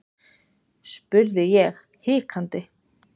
spurði ég hikandi.